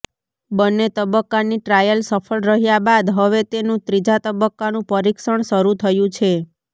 બંને તબક્કાની ટ્રાયલ સફળ રહ્યા બાદ હવે તેનું ત્રીજા તબક્કાનું પરિક્ષણ શરુ થયું છે